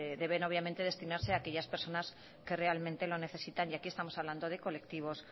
deben obviamente destinarse aquellas personas que realmente lo necesitan y aquí estamos hablando de colectivos